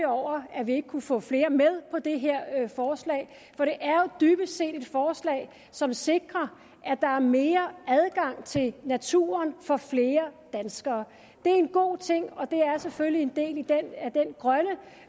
over at vi ikke kunne få flere med på det her forslag for det er jo dybest set et forslag som sikrer at der er mere adgang til naturen for flere danskere det er en god ting og det er selvfølgelig en del